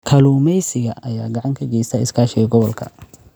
Kalluumeysiga ayaa gacan ka geysta iskaashiga gobolka.